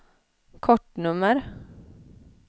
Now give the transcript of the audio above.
kortnummer